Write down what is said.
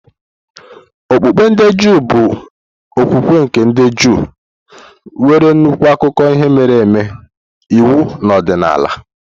Okpukpe ndị Juu bụ okwukwe nke ndị Juu, nwere nnukwu akụkọ ihe mere eme, iwu na ọdịnala.